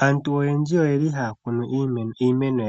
Aantu oyendji ohaya kunu iimeno